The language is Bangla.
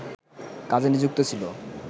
কাজে নিযুক্ত ছিল